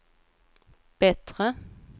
bättre